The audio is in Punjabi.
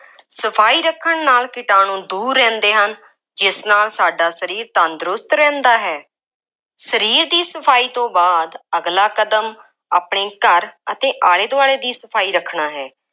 ਸਫਾਈ ਰੱਖਣ ਨਾਲ ਕੀਟਾਣੂੰ ਦੂਰ ਰਹਿੰਦੇ ਹਨ ਜਿਸ ਨਾਲ ਸਾਡਾ ਸਰੀਰ ਤੰਦਰੁਸਤ ਰਹਿੰਦਾ ਹੈ। ਸਰੀਰ ਦੀ ਸਫਾਈ ਤੋਂ ਬਾਅਦ, ਅਗਲਾ ਕਦਮ ਆਪਣੇ ਘਰ ਅਤੇ ਆਲੇ ਦੁਆਲੇ ਦੀ ਸਫਾਈ ਰੱਖਣਾ ਹੈ।